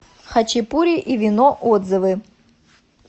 хачапури и вино отзывы